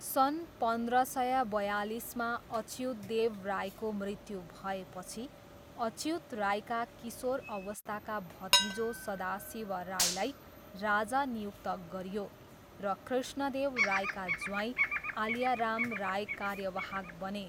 सन् पन्ध्र सय बयालिसमा अच्युतदेव रायको मृत्यु भएपछि अच्युत रायका किशोर अवस्थाका भतिजो सदाशिव रायलाई राजा नियुक्त गरियो र कृष्णदेव रायका ज्वाइँ आलिया राम राय कार्यवाहक बने।